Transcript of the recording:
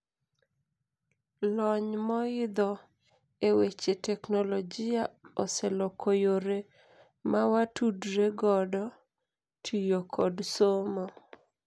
Lony moidho eweche teknologia oseloko yore mawatudre godo, tiyo kod somo.